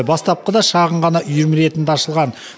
бастапқыда шағын ғана үйірме ретінде ашылған